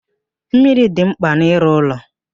Mmiri dị mkpa n'ịrụ ụlọ.